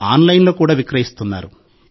ఆన్లైన్లో కూడా విక్రయిస్తున్నారు